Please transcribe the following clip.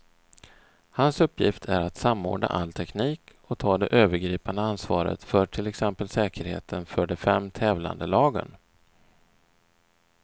Hans uppgift är att samordna all teknik och ta det övergripande ansvaret för till exempel säkerheten för de fem tävlande lagen.